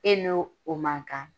E n'o o man kan